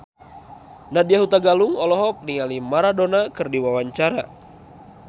Nadya Hutagalung olohok ningali Maradona keur diwawancara